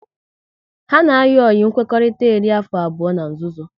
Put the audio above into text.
Ha na ayi oyi nkwekọrịta eri afọ abụọ n'nzuzo